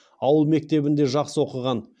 ауыл мектебінде жақсы оқыған